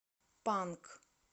панк